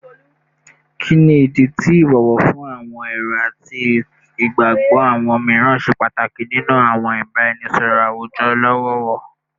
Kini idi ti ibowo fun awọn ero ati igbagbọ awọn miiran ṣe pataki ninu awọn ibaraenisọrọ awujọ lọwọlọwọ?